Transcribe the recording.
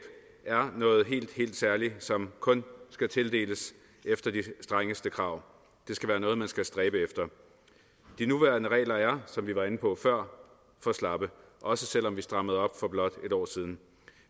er noget helt helt særligt som kun skal tildeles efter de strengeste krav det skal være noget man skal stræbe efter de nuværende regler er som vi var inde på før for slappe også selv om vi strammede op for blot et år siden